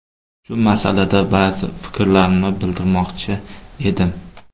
Shu masalada ba’zi fikrlarimni bildirmoqchi edim.